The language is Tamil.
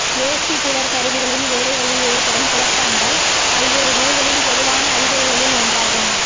வேஸ்டிபூலர் கருவிகளின் வேலைகளில் ஏற்படும் குழப்பங்கள் பல்வேறு நோய்களின் பொதுவான அறிகுறிகளில் ஒன்றாகும்